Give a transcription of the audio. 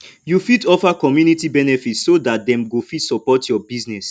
you fit offer community benefit so dat dem go fit support your business